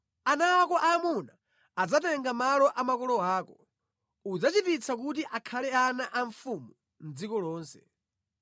Ana ako aamuna adzatenga malo a makolo ako; udzachititsa kuti akhale ana a mfumu mʼdziko lonse.